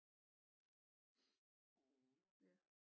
Ja